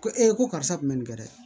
Ko ee ko karisa tun bɛ nin kɛ dɛ